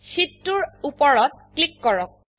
শীত2 এৰ উপৰত ক্লিক কৰক